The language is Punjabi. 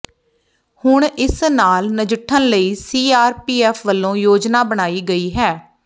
ਹੁਣ ਇਸ ਨਾਲ ਨਜਿੱਠਣ ਲਈ ਸੀਆਰਪੀਐੱਫ ਵੱਲੋਂ ਯੋਜਨਾ ਬਣਾਈ ਗਈ ਹੈ